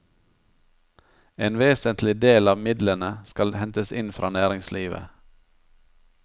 En vesentlig del av midlene skal hentes inn fra næringslivet.